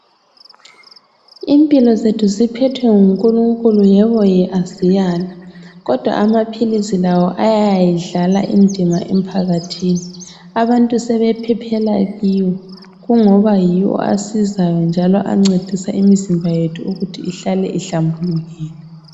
Impilo zethu ziphethwe ngu Nkulunkulu yebo ye asiyali, kodwa amaphilisi lawo ayayidlala indima emphakathini. Abantu sebephephela kiwo kungoba yiwo asizayo njalo ancedisa imizimba yethu ukuthi ihlale ihlambulukile.